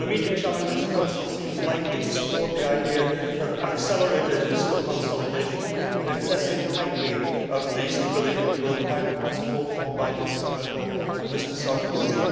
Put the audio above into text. On immediate challenges, the Council seems likely to support the idea of accelerated fiscal consolidation and excessive tightening of the Stability and Growth Pact, as called for by Mrs Merkel and Mr Sarkozy.